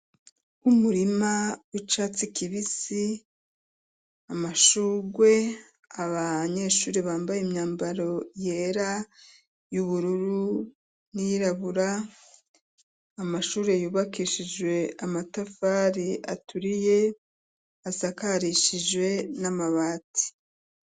Umurima w'icatsi kibisi, amashurwe, abanyeshuri bambaye imyambaro yera y'ubururu n'iyirabura. Amashuri yubakishijwe amatafari aturiye asakarishijwe n'amabati.